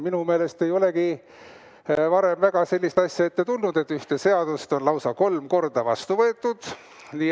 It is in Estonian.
Minu meelest ei olegi varem väga sellist asja ette tulnud, et ühte seadust on lausa kolm korda vastu võetud.